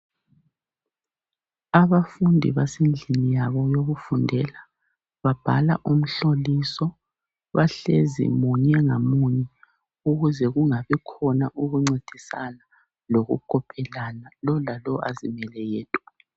Abafundi basendlini yabo yokufundela, babhala umhloliso. Bahlezi munye ngamunye ukuze kungabi khona ukuncedisana lokukopelana, lo lalo azimele yedwa.